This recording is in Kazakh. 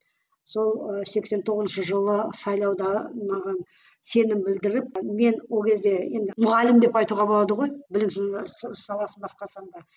сол ы сексен тоғызыншы жылы сайлауда маған сенім білдіріп мен ол кезде енді мұғалім деп айтуға болады ғой білім саласын басқарсам да